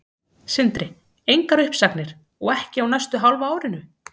Sindri: Engar uppsagnir, og ekki á næsta hálfa árinu?